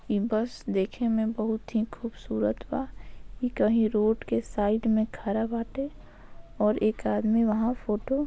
ई बस देखे में बहुत ही खूबसूरत बा ई कहीं रोड के साइड में खड़ा बाटे और एक आदमी वहां फोटो --